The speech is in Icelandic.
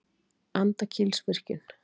Andakílsvirkjun